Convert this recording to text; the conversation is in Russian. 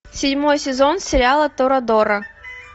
седьмой сезон сериала торадора